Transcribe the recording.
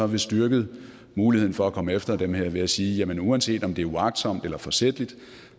vi styrket muligheden for at komme efter dem her ved at sige at uanset om det er uagtsomt eller forsætligt